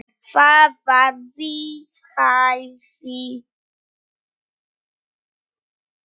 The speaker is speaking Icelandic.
Það var við hæfi.